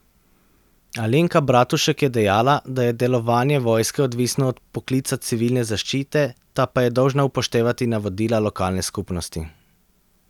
Alenka Bratušek je dejala, da je delovanje vojske odvisno od vpoklica Civilne zaščite, ta pa je dolžna upoštevati navodila lokalne skupnosti.